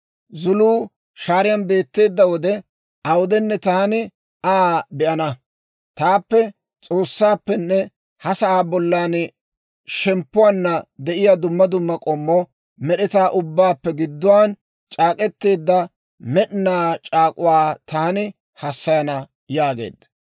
Zuluu shaariyaan beetteedda wode awudenne, taani Aa be'ana; taappe S'oossaappenne ha sa'aa bollan shemppuwaanna de'iyaa dumma dumma k'ommo med'etaa ubbaappe gidduwaan c'aak'k'eteedda med'ina c'aak'k'uwaa taani hassayana» yaageedda.